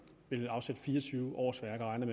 vil afsætte fire og tyve årsværk og regner